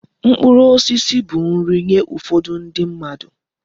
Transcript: Mkpụrụ osisi bụ nri nye ụfọdụ ndi mmadụ.